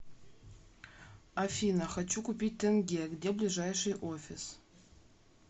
афина хочу купить тенге где ближайший офис